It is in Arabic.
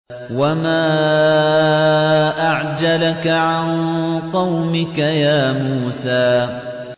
۞ وَمَا أَعْجَلَكَ عَن قَوْمِكَ يَا مُوسَىٰ